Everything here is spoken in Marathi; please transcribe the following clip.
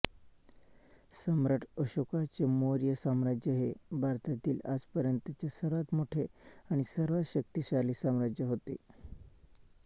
सम्राट अशोकांचे मौर्य साम्राज्य हे भारतातील आजपर्यंतचे सर्वात मोठे आणि सर्वात शक्तिशाली साम्राज्य होते